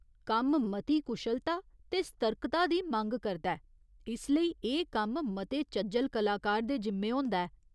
कम्म मती कुशलता ते सर्तकता दी मंग करदा ऐ, इस लेई एह् कम्म मते चज्जल कलाकार दे जिम्मे होंदा ऐ।